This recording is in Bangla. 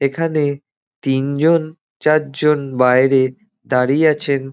এখানে তিনজন চারজন বাইরে দাঁড়িয়ে আছেন।